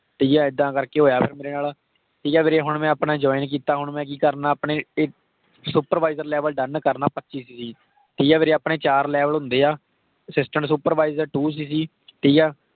ਠੀਕ ਆ, ਇੱਦਾਂ ਕਰ ਕੇ ਹੋਇਆ ਫ਼ਿਰ ਮੇਰੇ ਨਾਲ ਠੀਕ ਆ ਵੀਰੇ। ਹੁਣ ਮੈਂ ਆਪਣਾ join ਕੀਤਾ। ਹੁਣ, ਮੈਂ ਮੈਂ ਕਿ ਕਰਨਾ ਆਪਣੇ supervisor level done ਕਰਨਾ twenty five cc, ਠੀਕ ਆ ਵੀਰੇ। ਆਪਣੇ ਚਾਰ level ਹੁੰਦੇ ਆ, assistant supervisor two cc, ਠੀਕ ਆ।